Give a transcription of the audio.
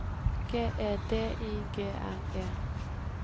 G E D I G N E